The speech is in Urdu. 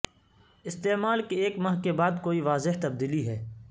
استعمال کے ایک ماہ کے بعد کوئی واضح تبدیلی ہے